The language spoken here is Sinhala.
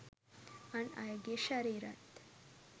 අන් අයගේ ශරීරත්